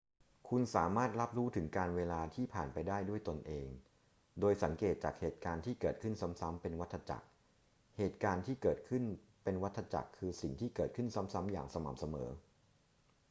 คุณสามารถรับรู้ถึงกาลเวลาที่ผ่านไปได้ด้วยตนเอง โดยสังเกตจากเหตุการณ์ที่เกิดขึ้นซ้ำๆ เป็นวัฏจักร เหตุการณ์ที่เกิดขึ้นเป็นวัฏจักรคือสิ่งที่เกิดขึ้นซ้ำๆ อย่างสม่ำเสมอ